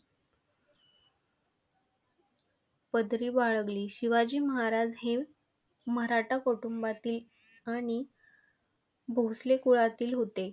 पदवी वाढवली शिवाजी महाराज हे मराठा कुटुंबातील आणि भोसले कुळातील होते.